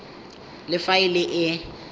le fa e le e